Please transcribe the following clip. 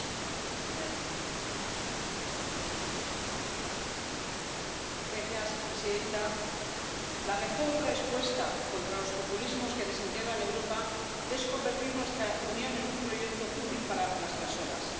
Señora presidenta, la mejor respuesta contra los populismos que desintegran Europa es convertir nuestra Unión en un proyecto útil para las personas, poner a las personas en el centro de las políticas públicas.